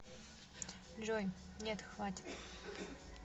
джой нет хватит